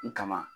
U kama